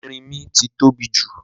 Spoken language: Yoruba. Erínmí ti tóbi jù